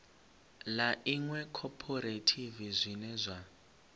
ḽa iṅwe khophorethivi zwine zwa